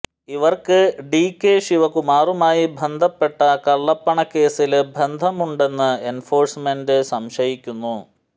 ഇവര്ക്ക് ഡികെ ശിവകുമാറുമായി ബന്ധപ്പെട്ട കള്ളപ്പണ കേസില് ബന്ധമുണ്ടെന്ന് എന്ഫോഴ്സ്മെന്റ് സംശയിക്കുന്നു